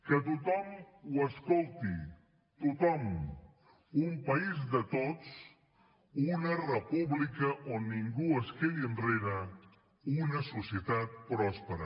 que tothom ho escolti tothom un país de tots una república on ningú es quedi enrere una societat pròspera